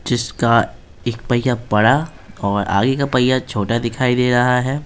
जिसका एक पहिया बड़ा और आगे का पहिया छोटा दिखाई दे रहा है।